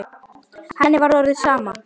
Henni var orðið sama.